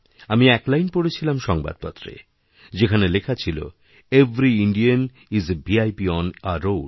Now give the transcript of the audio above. আমি এক লাইন পড়েছিলাম সংবাদপত্রে যেখানে লেখা ছিল every Indian is a VIP on a road